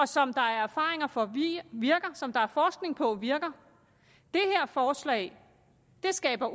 som der er erfaringer for virker og som der er forskning på virker det her forslag skaber